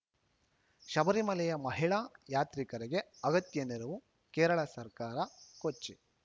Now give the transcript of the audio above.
ಶಬರಿಮಲೆಯ ಮಹಿಳಾ ಯಾತ್ರಿಕರಿಗೆ ಅಗತ್ಯ ನೆರವು ಕೇರಳ ಸರ್ಕಾರ ಕೊಚ್ಚಿ